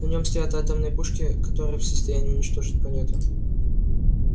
на нем стоят атомные пушки которые в состоянии уничтожить планету